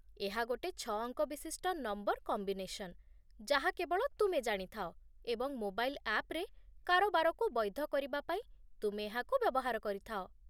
ଏହା ଗୋଟେ ଛଅ ଅଙ୍କ ବିଶିଷ୍ଟ ନମ୍ବର୍ କମ୍ବିନେସନ୍, ଯାହା କେବଳ ତୁମେ ଜାଣିଥାଅ, ଏବଂ ମୋବାଇଲ୍ ଆପ୍‌ରେ କାରବାରକୁ ବୈଧ କରିବା ପାଇଁ ତୁମେ ଏହାକୁ ବ୍ୟବହାର କରିଥାଅ